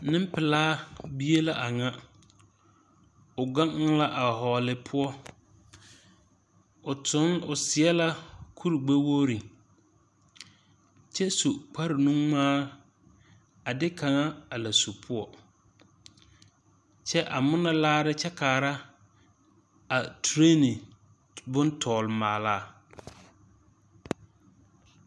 Nempelaa bie la a ŋa. O gaŋe la a vͻͻle poͻ. O toŋ, o seԑ la kurigbԑ wogiri kyԑ su kpare nuŋmaa a de kaŋa a la su poͻ. Kyԑ a ŋmorͻ laare kyԑ kaara a tereene bontͻgele maala.